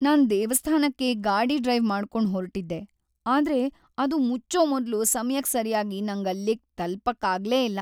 ನಾನ್ ದೇವಸ್ಥಾನಕ್ಕೆ ಗಾಡಿ ಡ್ರೈವ್ ಮಾಡ್ಕೊಂಡ್ ಹೊರ್ಟಿದ್ದೆ ಆದ್ರೆ ಅದು ಮುಚ್ಚೋ ಮೊದ್ಲು ಸಮಯಕ್ ಸರ್ಯಾಗಿ ನಂಗ್ ಅಲ್ಲಿಗ್ ತಲ್ಪಕ್ಕಾಗ್ಲೇ ಇಲ್ಲ.